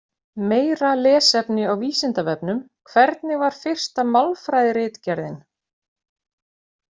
Meira lesefni á Vísindavefnum: Hvernig var fyrsta málfræðiritgerðin?